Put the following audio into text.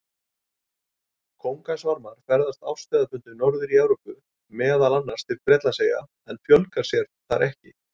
Kóngasvarmar ferðast árstíðabundið norðar í Evrópu, meðal annars til Bretlandseyja, en fjölga sér þar ekki.